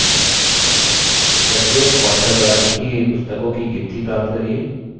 2 प्रत्येक author द्वारा लिखी गयी पुस्तकों की गिनती प्राप्त करिये